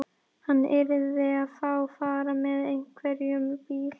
Hann yrði að fá far með einhverjum bíl.